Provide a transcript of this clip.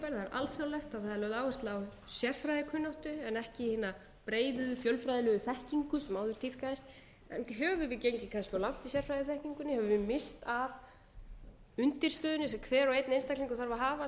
alþjóðlegt það er lögð áhersla á sérfræðikunnáttu en ekki hina breiðu fjölfræðilegu þekkingu sem áður tíðkaðist höfum við gengið kannski of langt í sérfræðiþekkingunni höfum við misst af undirstöðunni sem hver og einn einstaklingur þarf að hafa